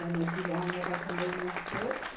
as notas são de um a sete.